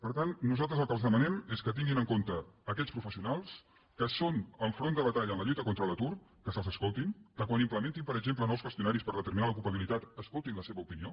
per tant nosaltres el que els demanem és que tinguin en compte aquests professionals que són el front de batalla en la lluita contra l’atur que se’ls escoltin que quan implementin per exemple nous qüestionaris per determinar l’ocupabilitat escoltin la seva opinió